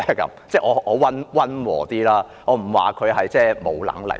我說得溫和一點，我不說她沒有能力。